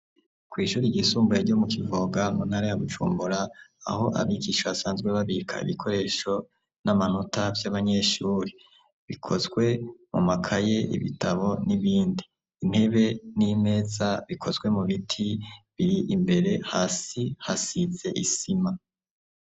Kwishuri ry'isumbuye ryo mu Kivoga mu ntara ya Bujumbura aho abigisha asanzwe babika ibikoresho n'amanota vy'abanyeshure bikozwe mu makaye ibitabo n'ibindi intebe n'imeza bikozwe mu biti biri imbere hasi hasize isima.